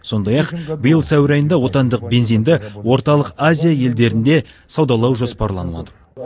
сондай ақ биыл сәуір айында отандық бензинді орталық азия елдерінде саудалау жоспарланады